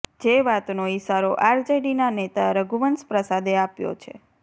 જે વાતનો ઈશારો આરજેડીના નેતા રઘુવંશ પ્રસાદે આપ્યો છે